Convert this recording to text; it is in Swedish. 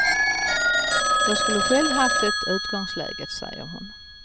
Jag skulle själv haft det utgångsläget, säger hon.